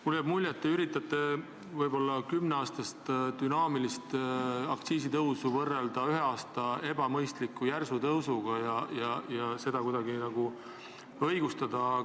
Mul jääb mulje, et te üritate kümne aasta jooksul aset leidnud dünaamilist aktsiisitõusu võrrelda ebamõistliku järsu tõusuga ühel aastal ja seda kuidagi õigustada.